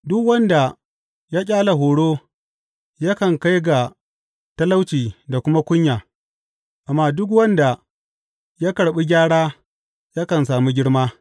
Duk wanda ya ƙyale horo yakan kai ga talauci da kuma kunya, amma duk wanda ya karɓi gyara yakan sami girma.